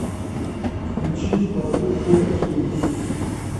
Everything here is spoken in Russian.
включи в порту фо кей